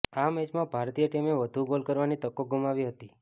આ મેચમાં ભારતીય ટીમે વધુ ગોલ કરવાની તકો ગુમાવી હતી